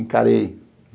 Encarei.